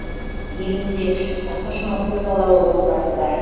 елімізде үш жүз қырық үш мың көпбалалы отбасы бар